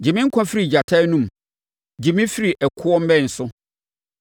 Gye me nkwa firi gyata anom; gye me firi ɛkoɔ mmɛn so.